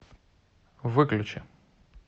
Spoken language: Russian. выключи